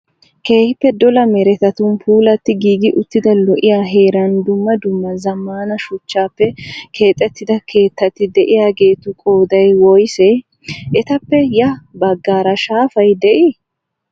Keehippe dola meretatun puulatti giigi uttida lo'iyaa heeran dumma dumma zammaana shuchchappe keexettida keettati diyaageetu qooday woyisee? Etappe ya baggaara shaafay dii?